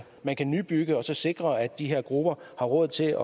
man kan nybygge og så sikre at de her grupper har råd til